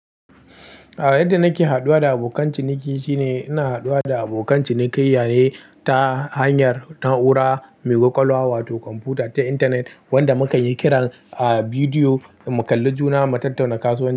Yadda nake haduwa da abokan ciniki shine ina haduwa da abokan cinikayya ne ta hanyar na'ura mai kwakwalwa wato kwamfuta ta intanet wanda mukanyi kiran a bidiyo mu kalli juna mu tattauna kasuwan.